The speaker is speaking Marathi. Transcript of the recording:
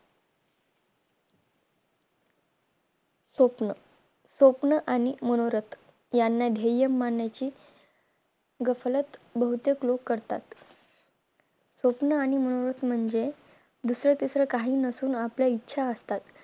स्वप्न स्वप्न आणि मनोरथ याना ध्येय मांडण्याची गफलत बहुतेक लोक करतात स्वप्न आणि मनोरथ म्हणजे दुसरं तिसर काही नसून आपल्या इच्छा असतात